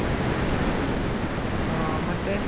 ಆ ಮತ್ತೆ